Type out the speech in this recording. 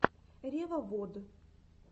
ревовод